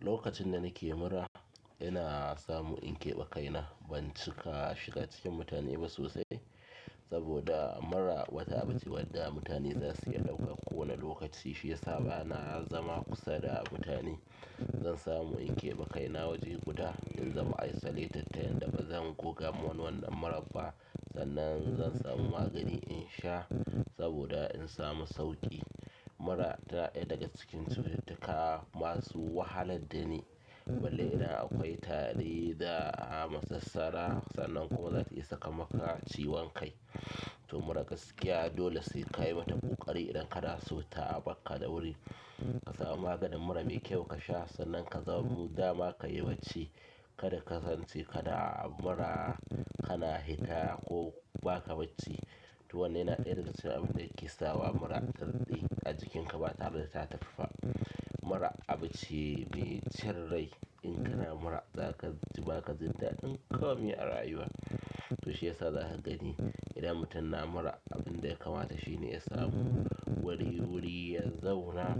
Lokacin da nake mura, ina samu in keɓe kaina ban cika shiga cikin mutane ba sosai. Saboda mura wata abuche wadda mutane za su iya ɗauka kowane lokaci, shi ya sa bana zama kusa da mutane. Zan samu in keɓe kaina waje guda in zama isolated ta yanda ba zan goga ma wannan muran ba sannan zan samu magani in sha saboda in samu sauƙi. Mura ta ɗaya daga cikin cututtuka masu wahalar da ni. Balle ina akwai tari da a'a masassara sannan kuma zata iya saka maka ciwon kai. To mura gaskiya dole sai ka yi mata ƙoƙari idan kana so ta bar ka da wuri. Ka samu maganin mura mai kyau ka sha sannan ka zama dama ka yi bacci. Kada ka san ce kada a mura kana hikaya ko ba ka bacci. To wannan yana ɗaya daga cikin abin da yake sa wa mura ta daɗe a jikinka ba tare da ta taffa. Mura abun ce mai cin rai. In kana mura za ka ji ba ka jin daɗi komi a rayuwa. To shi ya sa za ka gani idan mutum na mura abin da ya kamata shi ne ya samu wani wuri ya zauna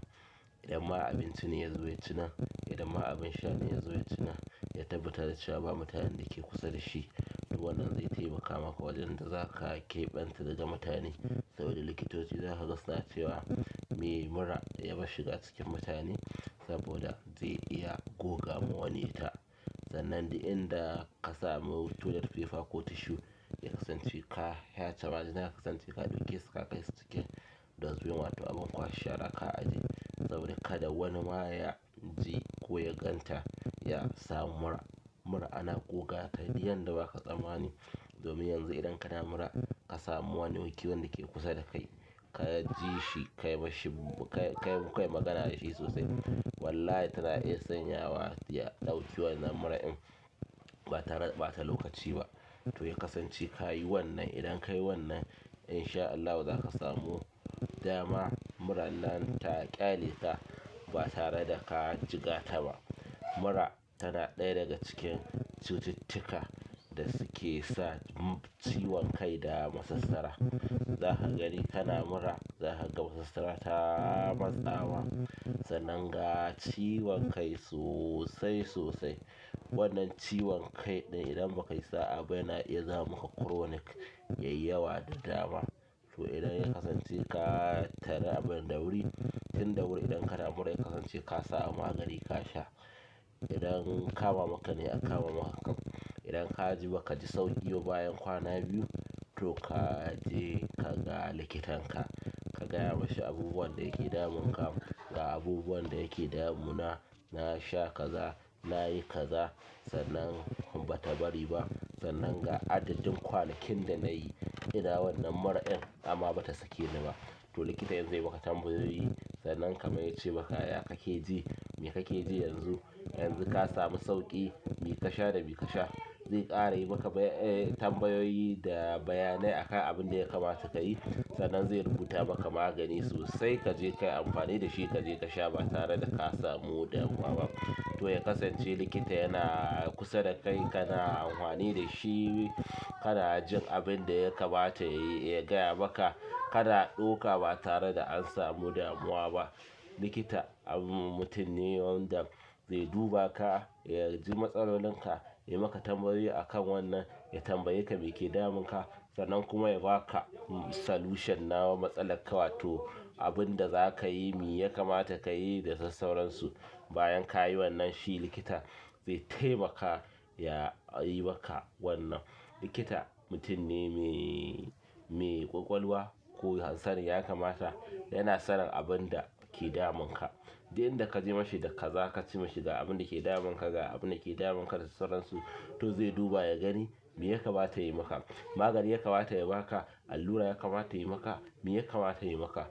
idan ma abinci ne ya zuwa cinan, idan ma abin sha ne ya zuwa cinan, ya tabbatar da ba mutanen da ke kusa da shi. To wannan zai taimaka maka wajen da za ka keɓance daga mutane saboda likitoci za su gasuna cewa me mura ya bar shiga cikin mutane saboda zai iya goga wa wani ta. Sannan duk inda toilet paper koh tissue ya kasance ka feyche majina ya kasanche ka daukeso ka kaisu cikin dustbin wato abin kwashe shara ka aje domin kada wanima yaji ko ya ganta ya sam mura ana goga ta yanda duk baka tsammani domin yanzu idan kana mura ka samu wani wuki wanda ke kusa da kai, ka ji shi ka yi mashi, ka yi, ka yi magana da shi sosai. Wallahi tana iya sanyawa ya ɗauki wannan muran in ba tareda ɓata lokaci ba. To ya kasance ka yi wannan. Idan ka yi wannan in sha Allahu za ka samu dama muran nan ta ƙyale ka ba tare da ka jigata ba. Mura tana ɗaya daga cikin cututtuka da suke sa ciwon kai da masassara. Za ka gani kana mura za ka ga masassara ta matsawa. Sannan ga ciwon kai sosai sosai. Wannan ciwon kai idan baka yi sa'a ba yana iya zama maka chronic yayi yawa da dama. To idan ya kasance ka tare a bun ɗawuri, tinɗawuri idan kana mura ya kasance ka samu magani ka sha. Idan kawo maka ne a kawo maka. Idan ka ji ba ka ji sauƙi ba bayan kwana biyu to ka je ka ga likitanka. Ka gaya mashi abubuwan da yake damun ka, ga abubuwan da yake damu na, na sha kaza, na yi kaza sannan bata bari ba. Sannan ga adadin kwanakin da nayi duk dadewar wannan muradin amma bata tafi ba to likita in zai maka tambayoyi sannan kamar ya ce maka, "Ya ka ke ji, me kake ji yanzu? Yanzu ka samu sauƙi, me ka sha da me ka sha?" Zai ƙara yi maka bayyan, eh tambayoyi da bayanai akan abin da ya kamata ka yi. Sannan zai rubuta maka magani sosai ka je ka yi amfani da shi ka je ka sha ba tare da ka samu damuwa ba. To ya kasance likita yana kusa da kai kana amfani da shi, kana jin abin da ya kamata yayi, ya gaya maka kana ɗauka ba tare da an samu damuwa ba. Likita mutum ne wanda zai duba ka, ya ji matsalolin ka, ya maka tambayoyi akan wannan, ya tambaye ka me ke damun ka sannan kuma ya ba ka solution na wa matsalar ka wato abin da za ka yi, me ya kamata ka yi da sassauransu. Bayan ka yi wannan shi likita zai taimaka ya yi maka wannan. Likita mutum ne me, me ƙwaƙwalwa ko hanzari ya kamata, yana sanin abin da ke damun ka. Duk inda ka je mashi da kaza ka ce mishi ga abin da ke damun ka, ga abin da ke damun ka da sassauransu to zai duba ya gani me ya kamata ya yi maka. Magani ya kamata ya ba ka, allura ya kamata ya yi maka, me ya kamata ya yi maka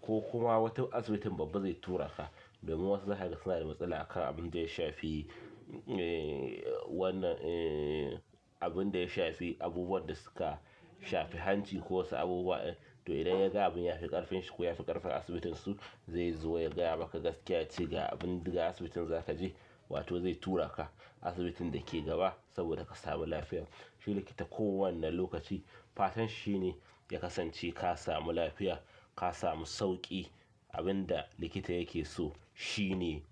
ko kuma wata asibitin babba zai tura ka. Domin wasu zakaga suna da matsala akan abin da ya shafi, eh wannan eh abin da ya shafi abubuwan da suka shafi hanci ko wasu abubuwa. To idan ya ga abin ya fi ƙarfinsa ko ya fi ƙarfin asibitin su zai zo ya gaya maka gaskiya yace ga abin daga asibitin za ka je wato zai tura ka asibitin da ke gaba saboda ka samu lafiya. Shi likita kowane lokaci fatan shi ne ya kasance ka samu lafiya, ka samu sauƙi. Abin da likita yake so shi ne.